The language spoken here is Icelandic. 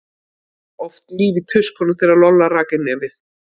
Það var oft líf í tuskunum þegar Lolla rak inn nefið.